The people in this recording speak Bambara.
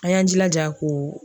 An y'an jilaja k'o